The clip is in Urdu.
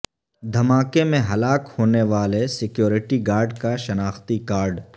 دھماکے میں ہلاک ہونے والے سکیورٹی گارڈ کا شناختی کارڈ